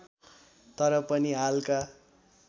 तर पनि हालका